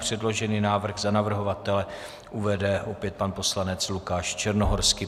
Předložený návrh za navrhovatele uvede opět pan poslanec Lukáš Černohorský.